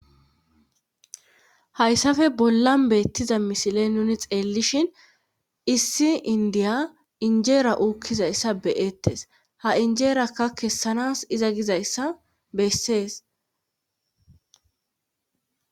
Hayssafe bollan beettiza misiley nuni xeellishin issi indiya injeera uukkizayssa beyettes ha injeerakka kessanas iza gizayssa bessees.